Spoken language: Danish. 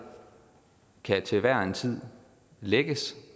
kan til hver en tid lækkes